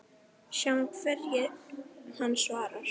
Sjáum hverju hann svarar.